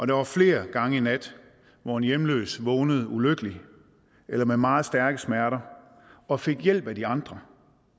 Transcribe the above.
der var flere gange i nat hvor en hjemløs vågnede ulykkelig eller med meget stærke smerter og fik hjælp af de andre